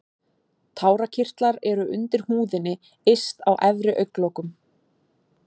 Tárakirtlar eru undir húðinni yst á efri augnlokum.